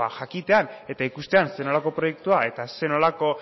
jakitean eta ikustean zer nolako proiektua eta zer nolako